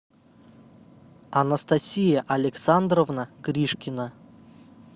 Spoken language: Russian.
анастасия александровна гришкина